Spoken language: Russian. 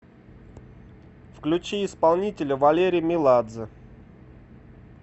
включи исполнителя валерий меладзе